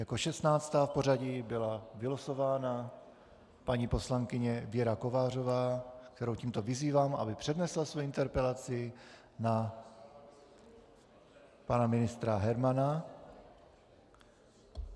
Jako 16. v pořadí byla vylosována paní poslankyně Věra Kovářová, kterou tímto vyzývám, aby přednesla svoji interpelaci na pana ministra Hermana.